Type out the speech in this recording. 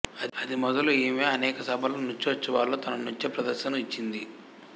అది మొదలు ఈమె అనేక సభలలో నృత్యోత్సవాలలో తన నృత్యప్రదర్శనను ఇచ్చింది